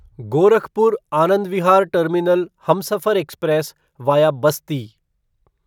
Gorakhpur Anand Vihar terminal Humsafar express via Basti